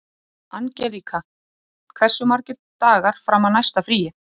Angelíka, hversu margir dagar fram að næsta fríi?